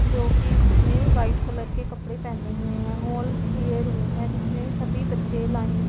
जोकि इसने white colour के कपड़े पहने हुए हैं हॉल कि ये रूम है जिसमें सभी बच्चे लाइन --